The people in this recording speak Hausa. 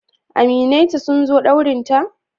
Aminai ta sun zo daurinta?